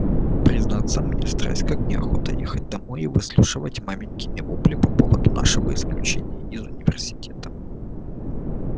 признаться мне страсть как неохота ехать домой и выслушивать маменькины вопли по поводу нашего исключения из университета